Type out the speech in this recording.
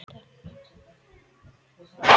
Þá er hægt að velja milli innlendra eigna og erlendra.